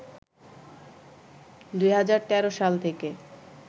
২০১৩ সাল থেকে